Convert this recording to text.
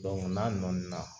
n'a nɔɔni na.